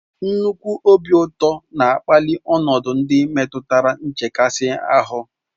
Nnukwu obi ụtọ na-akpali ọnọdụ ndị metụtara nchekasị ahụ